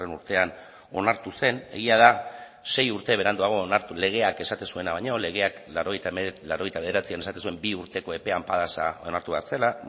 urtean onartu zen egia da sei urte beranduago onartu legeak esaten zuena baino legeak laurogeita bederatzian esaten zuen bi urteko epean padas onartu behar zela